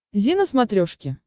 зи на смотрешке